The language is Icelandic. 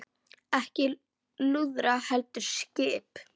Ekki lúðrar heldur skip.